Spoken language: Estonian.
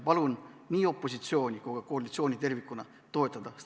Palun nii opositsiooni kui ka koalitsiooni seda lisaeelarvet toetada.